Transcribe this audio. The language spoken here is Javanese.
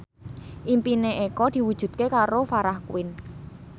impine Eko diwujudke karo Farah Quinn